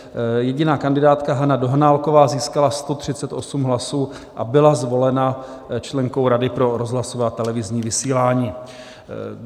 Jediná kandidátka Hana Dohnálková získala 138 hlasů a byla zvolena členkou Rady pro rozhlasové a televizní vysílání.